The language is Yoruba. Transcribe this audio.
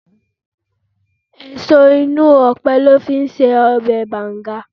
Èso inú ọpẹ lọ fi í ṣe ọbẹ̀ banga.